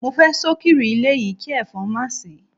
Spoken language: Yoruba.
Mo fe sokiri ile yi ki efon ma si